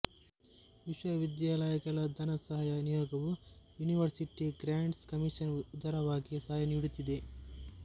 ವಿಶ್ವವಿದ್ಯಾಲಯಗಳ ಧನಸಹಾಯ ನಿಯೋಗವೂ ಯೂನಿವರ್ಸಿಟಿ ಗ್ರ್ಯಾಂಟ್ಸ್ ಕಮಿಷನ್ ಉದಾರವಾಗಿ ಸಹಾಯ ನೀಡುತ್ತಿದೆ